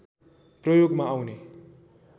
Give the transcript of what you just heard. प्रयोगमा आउने